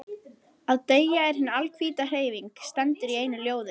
Að deyja er hin alhvíta hreyfing, stendur í einu ljóði.